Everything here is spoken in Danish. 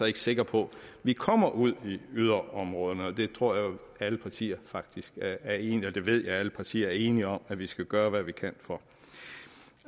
ikke sikker på at vi kommer ud i yderområderne og det tror jeg alle partier faktisk er enige om og det ved jeg alle partier er enige om at vi skal gøre hvad vi kan for